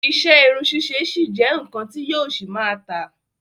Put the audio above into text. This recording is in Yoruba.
Iṣẹ́ irun ṣíṣe ṣì jẹ́ nnkan ti yóò ṣì máa tà.